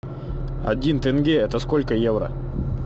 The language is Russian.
один тенге это сколько евро